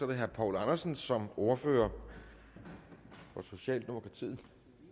det herre poul andersen som ordfører for socialdemokratiet